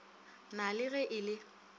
na le ge e le